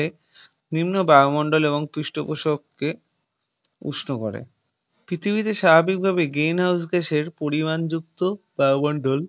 বিভিন্ন বায়ুমণ্ডল এবং পৃষ্ঠপোষক কে উষ্ণ করে। পৃথিবী তে স্বাভাবিক ভাবেই Green House Gas এর পরিমাণ যুক্ত বায়ুমন্ডল